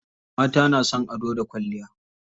Mata na son ado da kwalliya.